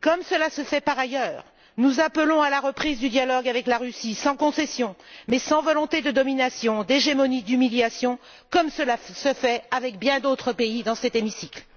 comme cela se fait par ailleurs, nous appelons à la reprise du dialogue avec la Russie, sans concession, mais sans volonté de domination, d'hégémonie ou d'humiliation, comme cela se fait avec bien d'autres pays dans cet hémicycle.